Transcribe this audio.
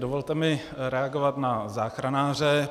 Dovolte mi reagovat na záchranáře.